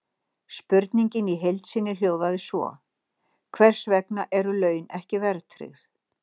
Spurningin í heild sinni hljóðaði svo: Hvers vegna eru laun ekki verðtryggð?